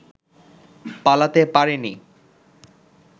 পালাতে পারেনি